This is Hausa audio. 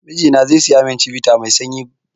Mijina zai siya mun chivita mai sanyi